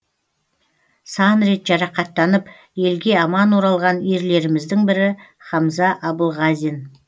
сан рет жарақаттанып елге аман оралған ерлеріміздің бірі хамза абылғазин